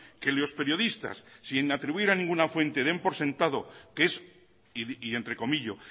que los periodistas sin atribuir a ninguna fuente den por sentado que es y entrecomillo